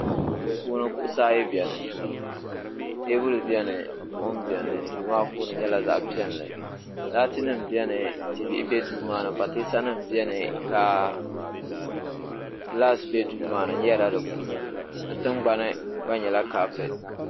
Duu puuni kuɣisi ayi beni teebuli beni buɣum beni duu maa puuni nyɛla zaɣ'piɛlli laatinima beni tibihi be duu maa pateesanima beni ka gilaasi be duu maa ni n yɛrila di punu di tingbani gba nyɛ kaapɛti